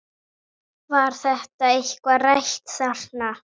Var þetta eitthvað rætt þarna?